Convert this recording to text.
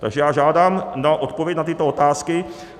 Takže já žádám odpověď na tyto otázky.